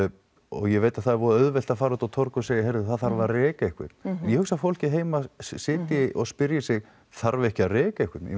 ég veit að það er voða auðvelt að fara út á torg og segja heyrðu það þarf að reka einhvern en ég hugsa að fólkið heima sitji og spyrji sig þarf ekki að reka einhvern